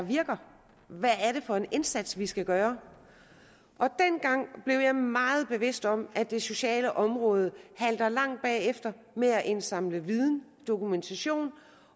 virker hvad er det for en indsats vi skal gøre dengang blev jeg meget bevidst om at det sociale område halter langt bagefter med at indsamle viden og dokumentation